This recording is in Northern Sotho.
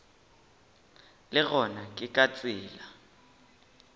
le gona ke ka tsela